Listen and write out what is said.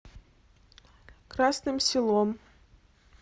красным селом